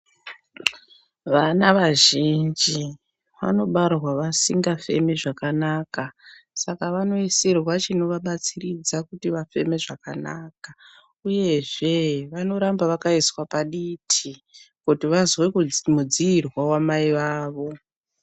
Vana vazhinji vanobarwa vasingafemi zvakanaka, saka vanoisirwa chinovabatsiridza kuti vafeme zvakanaka ,uyezve vanoramba zvakaiswa paditi ,kuti vazwe kudzi mudziirwa wamai wavo.